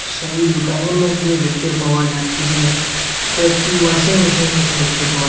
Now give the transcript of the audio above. সেই দুকানের মধ্যে দেখতে পাওয়া যাচ্ছে যে কয়েকটি ওয়াশিং মেশিন দেখতে পাওয়া যা--